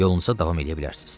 Yolunuza davam eləyə bilərsiz.